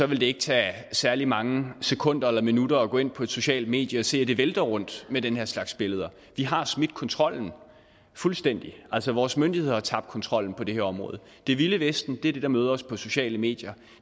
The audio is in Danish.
vil det ikke tage særlig mange sekunder eller minutter at gå ind på et socialt medie og se at det vælter rundt med den her slags billeder vi har smidt kontrollen fuldstændig altså vores myndigheder har tabt kontrollen på det her område det vilde vesten er det der møder os på de sociale medier